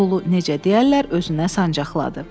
Pulu necə deyərlər, özünə sancaqladı.